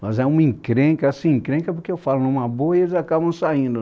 Mas é uma encrenca, assim, encrenca porque eu falo numa boa e eles acabam saindo,